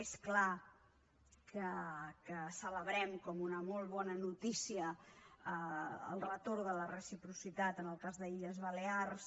és clar que celebrem com a una molt bona notícia el retorn de la reciprocitat en el cas de les illes balears